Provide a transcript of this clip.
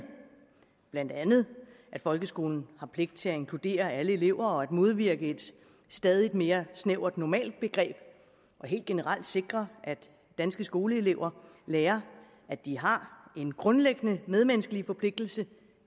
blandt andet at folkeskolen har pligt til at inkludere alle elever og modvirke et stadig mere snævert normalbegreb og helt generelt sikre at danske skoleelever lærer at de har en grundlæggende medmenneskelig forpligtelse